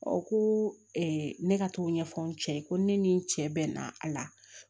ko ne ka t'o ɲɛfɔ n cɛ ye ko ne ni n cɛ bɛnna a la